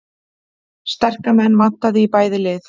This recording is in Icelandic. Sterka menn vantaði í bæði lið